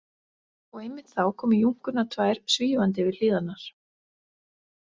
Og einmitt þá komu Júnkurnar tvær svífandi yfir hlíðarnar.